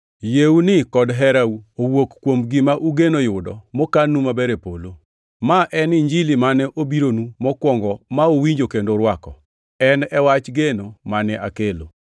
Yieuni kod herau owuok kuom gima ugeno yudo mokannu maber e polo. Ma en e Injili mane obironu mokwongo ma uwinjo kendo urwako, en e wach geno mane akelo.